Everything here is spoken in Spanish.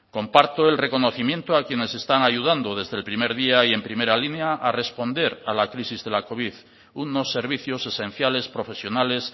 comparto el reconocimiento a quienes están ayudando desde el primer día y en primera línea a responder a la crisis de la covid unos servicios esenciales profesionales